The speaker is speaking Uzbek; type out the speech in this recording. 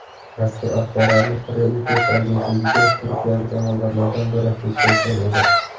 Mazkur axborotni Reuters agentligiga turkiyalik amaldorlardan biri yetkazgan edi.